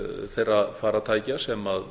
þeirra farartækja sem